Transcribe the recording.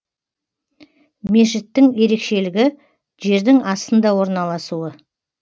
мешіттің ерекшелігі жердің астында орналасуы